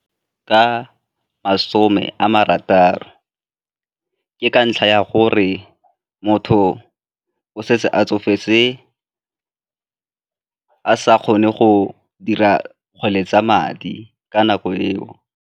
Ka masome a marataro, ke ka ntlha ya gore motho o setse a tsofetse a sa kgone go dira kgwele tsa madi ka nako eo.